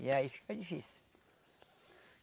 E aí fica difícil.